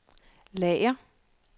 lager